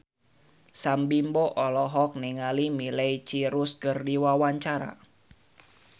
Sam Bimbo olohok ningali Miley Cyrus keur diwawancara